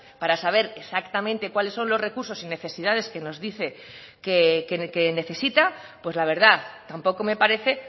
para saber exactamente cuáles son los recursos y necesidades que nos dice que necesita pues la verdad tampoco me parece